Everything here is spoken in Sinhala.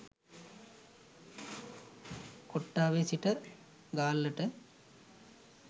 කොට්ටාවේ සිට ගාල්ලට